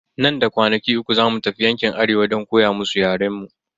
Nan da kwanaki uku zamu tafi yankin arewa don koya musu yaren mu.